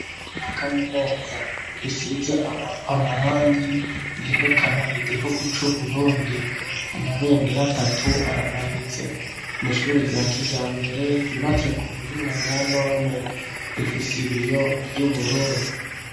Na kaminuza risize amarangi yerekana igihugu c'uburundi amabendera atatu aramanitse n'ishuri rya kijambere ryubatse ku buhinga bwa none rifise ibiyo vy'ubururu.